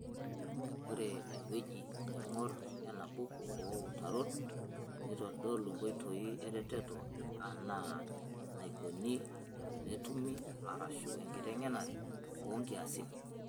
Ore eng'ueji nangor enabuku oo utarot neitodolu nkoitoi eretoto enaa enaikoni tenetumi arashu enkiteng'enare oo nkiasin.